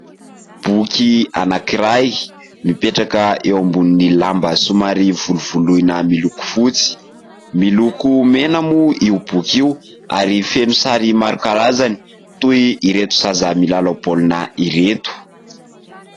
Boky anankiray mipetraka eo ambonin'ny lamba somary volovoloina miloko fotsy, miloko mena moa io boky io ary feno sary maro karazany toy ireto zaza milalao baolina ireto.